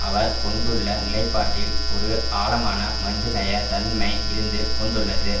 அவர் கொண்டுள்ள நிலைப்பாட்டில் ஒரு ஆழமான மனிதநேய தன்மை இருந்து கொண்டுள்ளது